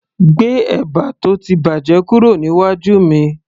gbé ẹ̀bà tó ti bàjẹ́ kúrò níwájú mi